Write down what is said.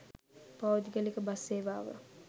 පෞද්ගලික බස් සේවාව